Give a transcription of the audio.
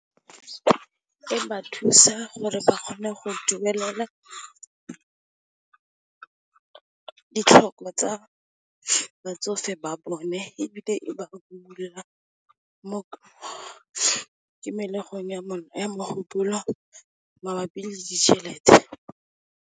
E ba thusa gore ba kgone go duelela ditlhoko tsa batsofe ba bone ebile, e ba imolola mo kimelegong ya bona ya mogopolo mabapi le ditšhelete.